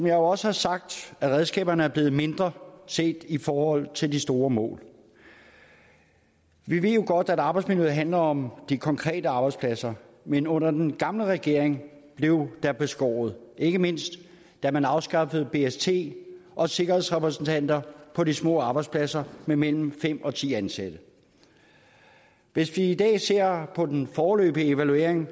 jo også har sagt er redskaberne blevet mindre set i forhold til de store mål vi ved jo godt at arbejdsmiljøet handler om de konkrete arbejdspladser men under den gamle regering blev der beskåret ikke mindst da man afskaffede bst og sikkerhedsrepræsentanter på de små arbejdspladser med mellem fem og ti ansatte hvis vi i dag ser på den foreløbige evaluering